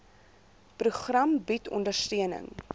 program bied ondersteuning